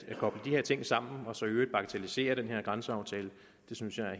koble de her ting sammen og så i øvrigt bagatellisere den her grænseaftale synes jeg er